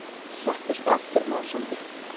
Settist aftur másandi.